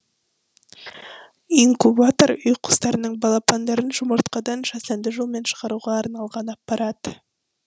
инкубатор үй құстарының балапандарын жұмыртқадан жасанды жолмен шығаруға арналған аппарат